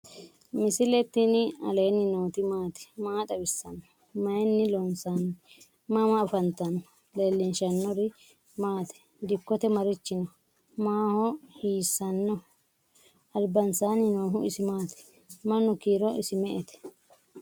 misile tini alenni nooti maati? maa xawissanno? Maayinni loonisoonni? mama affanttanno? leelishanori maati? dikote marichi no?mahu hisano? albansani noohu isi maati? manu kiiro isi me'ete?